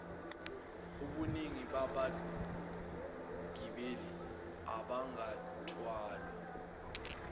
ubuningi babagibeli abangathwalwa